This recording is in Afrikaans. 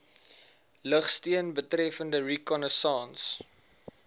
lugsteun betreffende reconnaissance